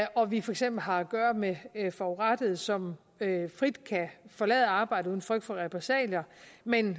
og vi for eksempel har at gøre med forurettede som frit kan forlade arbejdet uden frygt for repressalier men